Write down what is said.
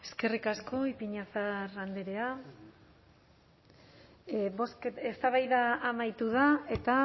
eskerrik asko ipiñazar andrea eztabaida amaitu da eta